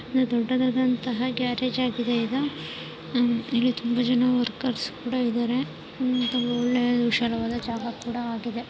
ದೊಡ್ದುದಾದ car garage ಆಗಿದೆ ಇದು. ಇಲ್ಲಿ ತುಂಬಾ ಜನ ವರ್ಕರ್ಸ್ ಕೂಡ ಇದಾರೆ.